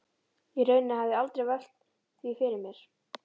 Í rauninni hafði ég aldrei velt því fyrir mér.